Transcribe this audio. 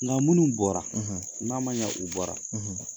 Nka munun bɔra n'a ma ɲɛ u bɔra